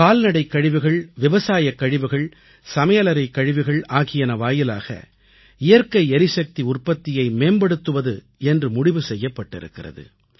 கால்நடைக்கழிவுகள் விவசாயக்கழிவுகள் சமையலறைக்கழிவுகள் ஆகியன வாயிலாக இயற்கை எரிசக்தி உற்பத்தியை மேம்படுத்துவது என்று முடிவு செய்யப்பட்டிருக்கிறது